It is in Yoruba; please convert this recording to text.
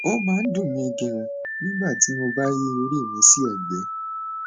ó máa ń dùn mí ganan nígbà tí mo bá yí orí mi sí ẹgbẹ